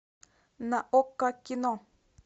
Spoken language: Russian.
на окко кино